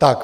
Tak.